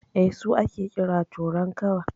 Eh, su ake kira "Torankawa".